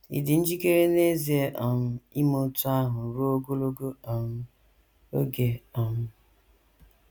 Ị̀ dị njikere n’ezie um ime otú ahụ ruo ogologo um oge? um